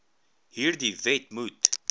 hierdie wet moet